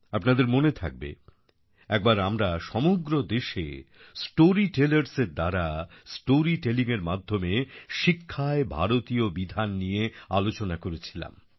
আপনাদের মনে থাকবে একবার আমরা সমগ্র দেশে স্টোরি Tellersএর দ্বারা স্টোরি Tellingএর মাধ্যমে শিক্ষায় ভারতীয় বিধান নিয়ে আলোচনা করেছিলাম